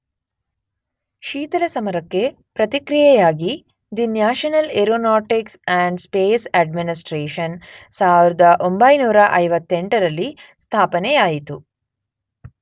ಶೀತಲ ಸಮರಕ್ಕೆ ಪ್ರತಿಕ್ರಿಯೆಯಾಗಿ the National Aeronautics and Space Administration ೧೯೫೮ರಲ್ಲಿ ಸ್ಥಾಪನೆಯಾಯಿತು.